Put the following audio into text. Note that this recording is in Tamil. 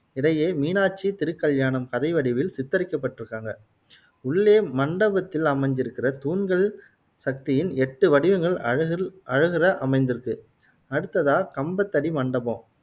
இடையே மீனாட்சி திருக்கல்யாணம் கதை வடிவில் சித்தரிக்கப்பட்டுருக்காங்க. உள்ளே மண்டபத்தில் அமைஞ்சு இருகுற தூண்கள், சக்தியின் எட்டு வடிவங்கள் அழகுல் அழகுற அமைந்துருக்கு அடுத்ததா கம்பத்தடி மண்டபம்